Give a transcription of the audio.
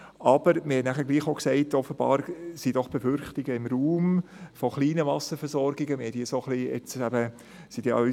Aber wir sagten, dass offenbar von kleinen Wasserversorgungen Befürchtungen im Raum sind.